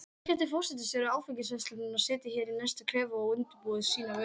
Annars gæti forstjóri áfengisverslunarinnar setið hér í næsta klefa og undirbúið sína vörn.